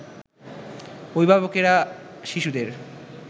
অভিভাবকেরা শিশুদের